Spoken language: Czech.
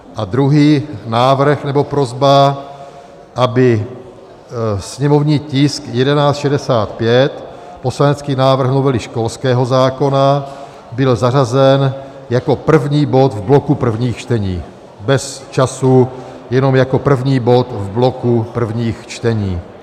A druhý návrh nebo prosba, aby sněmovní tisk 1165, poslanecký návrh novely školského zákona, byl zařazen jako první bod v bloku prvních čtení, bez času, jenom jako první bod v bloku prvních čtení.